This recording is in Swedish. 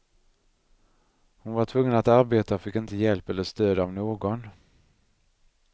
Hon var tvungen att arbeta och fick inte hjälp eller stöd av någon.